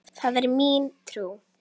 Það er mín trú.